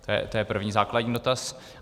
To je první, základní dotaz.